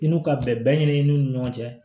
I n'u ka bɛn ɲini ni ɲɔgɔn cɛ